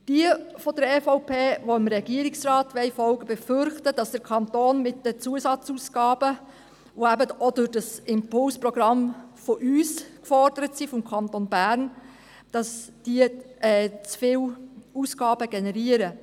Jene der EVP, die dem Regierungsrat folgen wollen, befürchten, dem Kanton entstünden mit den zusätzlichen Ausgaben, die auch mit unserem Impulsprogramm des Kantons Bern gefordert werden.